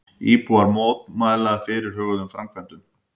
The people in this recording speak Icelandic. Íbúar mótmæla fyrirhuguðum framkvæmdum